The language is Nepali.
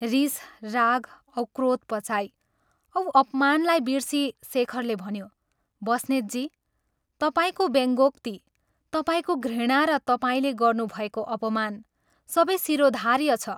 रीस, राग औ क्रोध पचाई औ अपमानलाई बिर्सी शेखरले भन्यो, "बस्नेतजी, तपाईंको व्यङ्कोक्ति, तपाईंको घृणा र तपाईंले गर्नुभएको अपमान सबै शिरोधार्य छ।